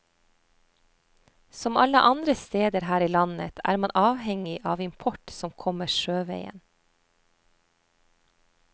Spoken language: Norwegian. Som alle andre steder her i landet er man avhengig av import som kommer sjøveien.